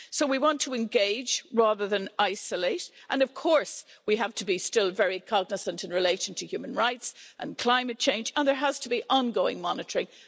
So we want to engage rather than isolate and, of course, we still have to be very cognisant in relation to human rights and climate change and there has to be ongoing monitoring.